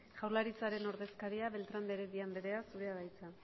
jaurlaritzaren ordezkaria beltrán de heredia andrea zurea da hitza